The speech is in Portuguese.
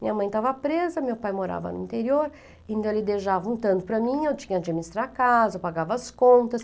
Minha mãe estava presa, meu pai morava no interior, então ele deixava um tanto para mim, eu tinha de administrar a casa, eu pagava as contas.